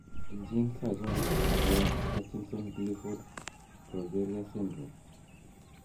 Genes achon chekergen ak Hutchinson Gilford progeria syndrome?